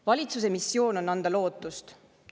Valitsuse missioon on anda lootust.